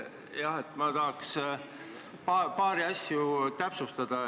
Ma mõtlesin, et tahaks paari asja täpsustada.